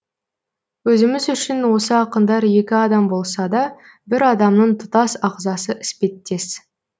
өзіміз үшін осы ақындар екі адам болса да бір адамның тұтас ағзасы іспеттес